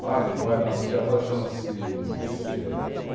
Paga e vai lá no que agora chama-se... Não sei se é... Supletivo?